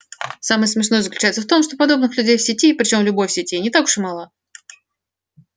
самое смешное заключается в том что подобных людей в сети причём в любой сети не так уж и мало